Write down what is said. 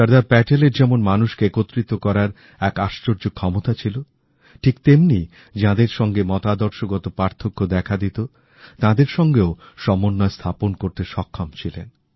সর্দার প্যাটেলের যেমন মানুষকে একত্রিত করার একআশ্চর্য ক্ষমতা ছিল ঠিক তেমনি যাঁদের সাথে মতাদর্শগত পার্থক্য দেখা দিত তাঁদের সাথেও সমন্বয় স্থাপন করতে সক্ষম ছিলেন